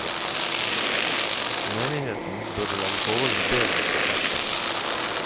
Menigheten burde legge forholdene bedre til rette.